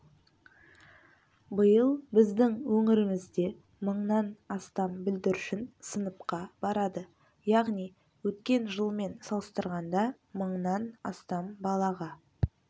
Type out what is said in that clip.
биыл біздің өңірімізде мыңнан астам бүлдіршін сыныпқа барады яғни өткен жылмен салыстырғанда мыңнан астам балаға